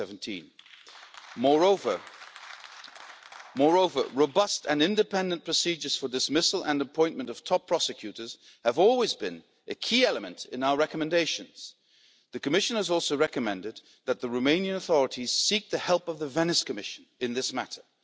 2017. Moreover, robust and independent procedures for the dismissal and appointment of top prosecutors have always been a key element in our recommendations. The Commission has also recommended that the Romanian authorities seek the help of the Venice Commission in this matter.